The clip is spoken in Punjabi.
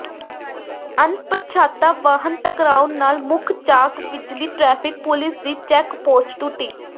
ਅਣਪਛਾਤਾ ਵਾਹਨ ਟਕਰਾਉਣ ਨਾਲ ਮੁੱਖ ਚੌਾਕ ਵਿਚਲੀ ਟ੍ਰੈਫ਼ਿਕ ਪੁਲਿਸ ਦੀ ਚੈੱਕ ਪੋਸਟ ਟੁੱਟੀ